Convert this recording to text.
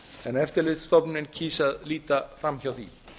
en eftirlitsstofnunin kýs að líta fram hjá því